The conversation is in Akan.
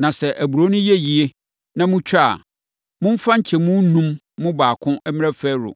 Na sɛ aburoo no yɛ yie, na motwa a, momfa nkyɛmu enum mu baako mmrɛ Farao.